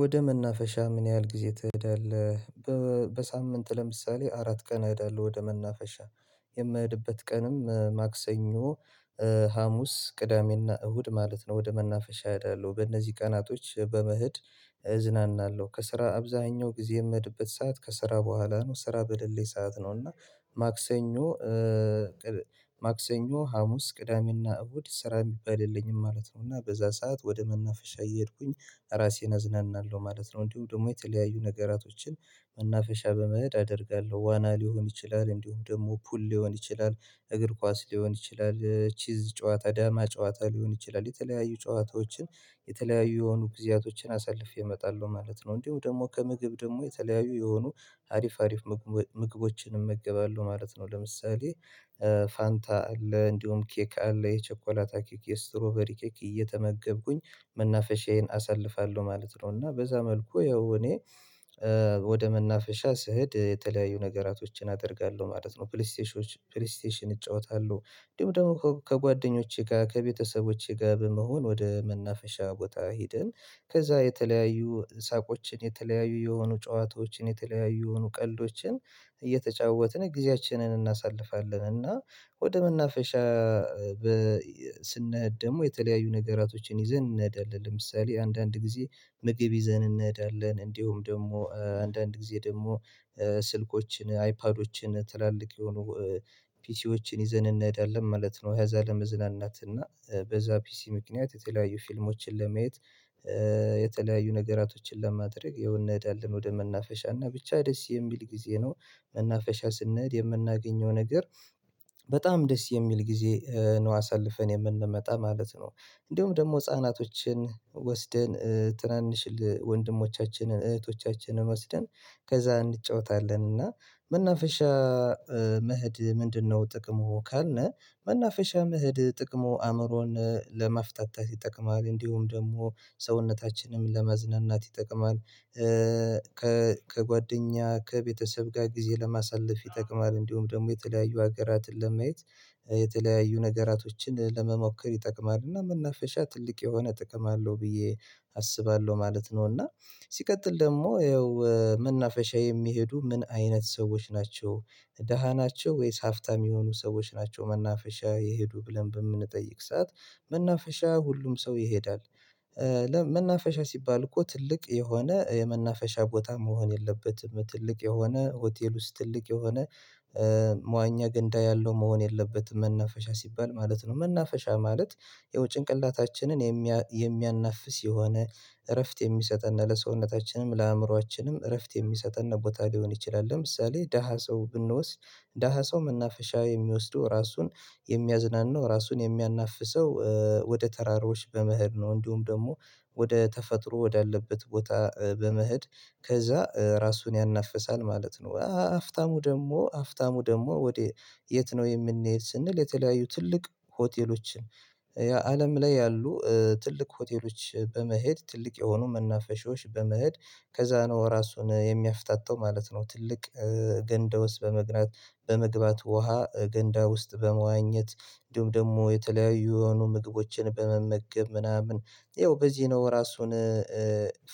ወደ መናፈሻ ምን ያህል ጊዜ ትሄዳለህ? በሳምንት ለምሳሌ አራት ቀን እሄዳለሁ ወደ መናፈሻ የምሄድበት ቀንም ማክሰኞ ሀሙስ ቅዳሜና እሁድ ማለት ነው። ወደ መናፈሻ እሄዳለሁ በእነዚህ ቀናቶች በመሄድ እዝናናለሁ። ከስራ አብዛኛው ጊዜ የምህድበት ሰዓት ከስራ በኋላ ነው ስራ በሌለኝ ሰዓት ነው እና። ማክሰኞ ማክሰኞ ሀሙስ ቅዳሜና እሁድ ስራ የሚባል የለኝም ማለት ነው። እና በዛ ሰዓት ወደ መናፈሻ እየሄድኩኝ ራሴን አዝናናለሁ ማለት ነው። እንዲሁ ደግሞ የተለያዩ ነገራቶችን መናፈሻ በመሄድ አደርጋለሁ ዋና ሊሆን ይችላል እንዲሁም ደግሞ ፑል ሊሆን ይችላል። እግር ኳስ ሊሆን ይችላል ቼዝ ጨዋታ ዳማ ጨዋታ ሊሆን ይችላል የተለያዩ ጨዋታዎችን የተለያዩ የሆኑ ጊዜያቶችን አሳልፌ እመጣለሁ ማለት ነው። እንዲሁ ደግሞ ከምግብ ደግሞ የተለያዩ የሆኑ አሪፍ አሪፍ ምግቦችን እመገባለሁ ማለት ነው። ለምሳሌ ፋንታ አለ እንዲሁም ኬክ አለ የቸኮላታ ኬክ የስትሮበሪ ኬክ እየተመገብኩኝ መናፈሻዬን አሳልፋለሁ ማለት ነው። እና በዛ መልኩ ያው እኔ ወደ መናፈሻ ስሄድ የተለያዩ ነገራቶችን አደርጋለሁ ማለት ነው። ፕሌይስቴሽን ፕሌይስቴሽን እጫወታለሁ እንዲሁም ደግሞ ከጓደኞቼ ጋር ከቤተሰቦቼ ጋር በመሆን ወደ መናፈሻ ቦታ ሄደን። ከዛ የተለያዩ ሳቆችን የተለያዩ የሆኑ ጨዋታዎችን የተለያዩ የሆኑ ቀልዶችን እየተጫወትን ጊዜያችንን እናሳልፋለን። እና ወደ መናፈሻ ስንሄድ ደግሞ የተለያዩ ነገራቶችን ይዘን እንሄዳለን ለምሳሌ አንዳንድ ጊዜ ምግብ ይዘን እንሄዳለን እንዲሁም ደግሞ አንዳንድ ጊዜ ደግሞ ስልኮችን አይፓዶችን ትላልቅ የሆኑ ፒሲዎችን ይዘን እንሄዳለን ማለት ነው። ከዚያ ለመዝናናት እና በዛ ፒሲ ምክንያት የተለያዩ ፊልሞችን ለመየት። የተለያዩ ነገራቶችን ለማድረግ ያው እንሄዳልን ወደ መናፈሻ እና ብቻ ደስ የሚል ጊዜ ነው። መናፈሻ ስንሄድ የምናገኘው ነገር በጣም ደስ የሚል ጊዜ ነው አሳልፈን የምንመጣ ማለት ነው። እንደውም ደግሞ ህፃናቶችን ወስደን ትናንሽ ወንድሞቻችንን እህቶቻችንን ወስደን ከዛ እንጫወታለን። እና መናፈሻ መሄድ ምንድነው? ጥቅሙ ካልነ መናፈሻ መህድ ጥቅሙ አእምሮን ለማፍታታት ይጠቅማል እንዲሁም ደግሞ ሰውነታችንም ለማዝናናት ይጠቅማል። ከጓደኛ ከቤተሰብ ጋር ጊዜ ለማሳለፍ ይጠቅማል እንዲሁም ደግሞ የተለያዩ ሀገራትን ለማየት። የተለያዩ ነገራቶችን ለመሞከር ይጠቅማል እና መናፈሻ ትልቅ የሆነ ጥቅም አለው ብዬ አስባለሁ ማለት ነው። እና ሲቀጥል ደግሞ ያው መናፈሻ የሚሄዱ ምን አይነት ሰዎች ናቸው? ደሃ ናቸው ወይስ ሀፍታም የሆኑ ሰዎች ናቸው መናፈሻ የሄዱ ብለን በምንጠይቅ ሰዓት መናፈሻ ሁሉም ሰው ይሄዳል። መናፈሻ ሲባል እኮ ትልቅ የሆነ የመናፈሻ ቦታ መሆን የለበትም ትልቅ የሆነ ሆቴል ውስጥ ትልቅ የሆነ መዋኛ ገንዳ ያለው መሆን የለበትም። መናፈሻ ሲባል ማለት ነው መናፈሻ ማለት ይኸው ጭንቅላታችንን የሚያናፍስ የሆነ እረፍት የሚሰጠን ለሰውነታችንም ለአእምሮአችንም እረፍት የሚሰጠን ቦታ ሊሆን ይችላል። ለምሳሌ ደሃ ሰው ብንወስድ ደሃ ሰው መናፈሻ የሚወስደው ራሱን የሚያዝናናው ራሱን የሚያናፍሰው ወደ ተራሮች በመሄድ ነው። እንዲሁም ደግሞ ወደ ተፈጥሮ ወዳለበት ቦታ በመሄድ ከዛ ራሱን ያናፍሳል ማለት ነው። ሀፍታሙ ደግሞ ሀፍታሙ ደግሞ ወደ የት? ነው የምንሄድ ስንል የተለያዩ ትልቅ ሆቴሎችን የአለም ላይ ያሉ ትልቅ ሆቴሎች በመሄድ ትልቅ የሆኑ መናፈሻዎች በመሄድ ከዛ ነው ራሱን የሚያፍታታው ማለት ነው። ትልቅ ገንዳ ውስጥ በመግባት ውሃ ገንዳ ውስጥ በመዋኘት ደግሞ የተለያዩ የሆኑ ምግቦችን በመመገብ ምናምን ይኸው በዚህ ነው ራሱን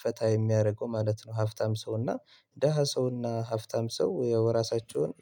ፈታ የሚያደርገው ማለት ነው። ሀፍታም ሰውና ደሃ ሰውና ሀፍታም ሰው ያው ራሳቸውን